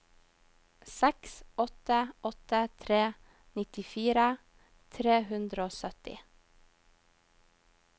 seks åtte åtte tre nittifire tre hundre og sytti